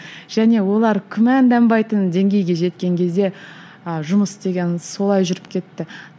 және олар күмәнданбайтын деңгейге жеткен кезде ы жұмыс деген солай жүріп кетті